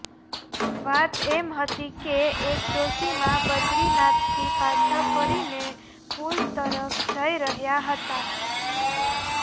વાત એમ હતી કે એક ડોશીમા બદરીનાથથી પાછાં ફરીને પુલ તરફ જઇ રહ્યાં હતાં